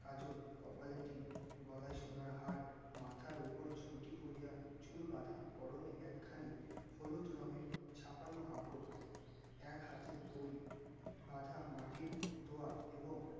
কাজল কপালে টিপ গলায় সোনার হার মাথার ওপর ঝুঁটি করিয়া চুল বাঁধা পরনে একখানি হলুদ রঙের ছাপানো কাপড় এক হাতে দড়ি বাঁধা মাটির দোয়াত এবং